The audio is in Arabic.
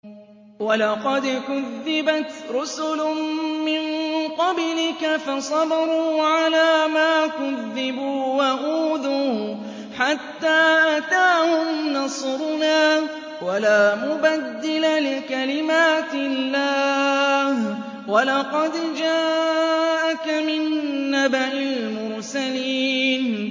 وَلَقَدْ كُذِّبَتْ رُسُلٌ مِّن قَبْلِكَ فَصَبَرُوا عَلَىٰ مَا كُذِّبُوا وَأُوذُوا حَتَّىٰ أَتَاهُمْ نَصْرُنَا ۚ وَلَا مُبَدِّلَ لِكَلِمَاتِ اللَّهِ ۚ وَلَقَدْ جَاءَكَ مِن نَّبَإِ الْمُرْسَلِينَ